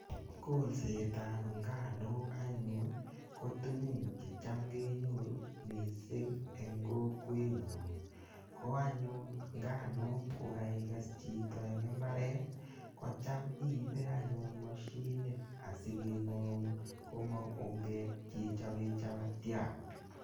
Kolsetab inganuk anyun ko tugun che cham kenyoru mising eng kokwenyon, ko anyun nganuk ko kaikes chito eng imbaret, kocham iibe anyun mashinit asi kengaun komong ungeek che chope chapatiat.